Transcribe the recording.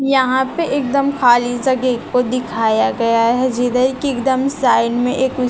यहां पे एकदम खाली जगह को दिखाया गया है जिधर कि एकदम साइड में एक--